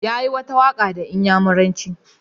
Yayi wata waka da inyamuranci.